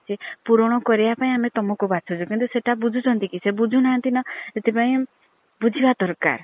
ପୁରଣ କରିବା ପାଇଁ ଆମେ ତମକୁ ବାଛୁଛୁ କିନ୍ତୁ ସେଇଟା ବୁଝୁଛନ୍ତି କି ସେ ବୁଝୁ ନାହାନ୍ତି ନା ସେଥିପାଇଁ ବୁଝିବା ଦରକାର।